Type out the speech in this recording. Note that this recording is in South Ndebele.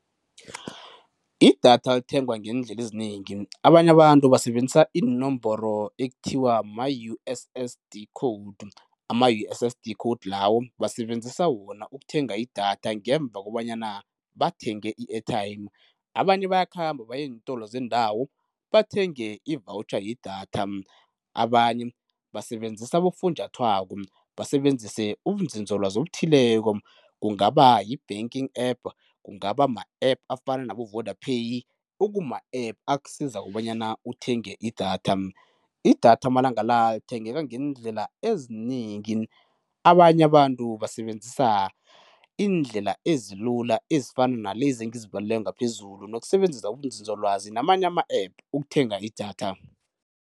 Idatha lithengwa ngeendlela ezinengi abanye abantu basebenzisa iinomboro ekuthiwa ma-U_S_S_D code, ama-U_S_S_D code lawo basebenzisa wona ukuthenga idatha ngemva kobanyana bathenge i-airtime. Abanye bayakhamba baye eentolo zendawo bathenge i-voucher yedatha, abanye basebenzisa abofunjathwako, basebenzise ubunzinzolwazi obuthileko, kungaba yi-banking app, kungaba ma-app afana nabo-Vodapay okuma-app akusiza kobanyana uthenge idatha. Idatha amalanga la lithengeka ngeendlela ezinengi, abanye abantu basebenzisa iindlela ezilula ezifana nalezi engizibalileko ngaphezulu nokusebenzisa ubunzinzolwazi namanye ama-app ukuthenga idatha.